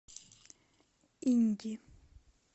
инди